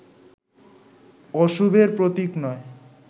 অশুভের প্রতীক নয়